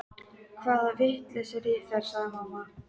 Hann þræddi mjóa fjárgötu vestur hraunið.